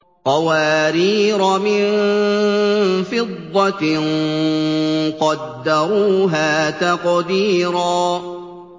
قَوَارِيرَ مِن فِضَّةٍ قَدَّرُوهَا تَقْدِيرًا